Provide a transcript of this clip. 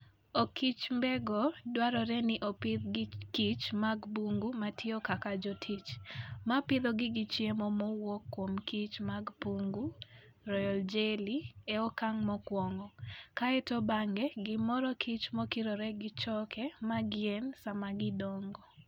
Okichmbego dwarore ni opidh gi kich mag bungu matiyo kaka jotich, ma pidhogi gi chiemo mowuok kuom kich mag bungu (royal jelly) e okang' mokwongo, kae to bang'e gi mor kich mokikore gi choke mag yien sama gidongo.